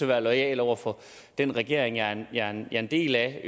være loyal over for den regering jeg er en del af og